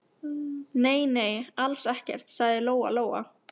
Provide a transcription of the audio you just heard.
Nei, nei, alls ekkert, sagði Lóa Lóa.